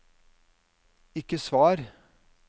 ikke svar